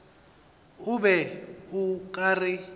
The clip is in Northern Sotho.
o be o ka re